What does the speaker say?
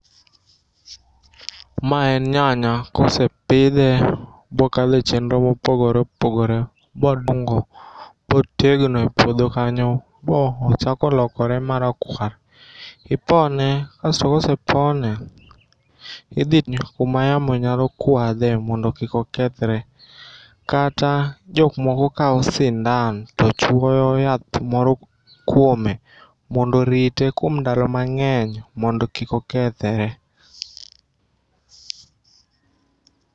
Ma en nyanya kosepidhe bokale chenro mopogore opogore, bodongo botegno e puodho kanyo, bo ochako lokore marakwar. Ipone kasto kose pone, idhi kuma yamo nyalo kwadhe mondo kik okethre. Kata jok moko kao sindan to chwoyo yath moro kuome mondo rite kuom ndalo mang'eny mondo kik okethre.